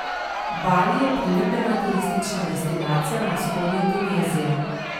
Bali je priljubljena turistična destinacija na vzhodu Indonezije.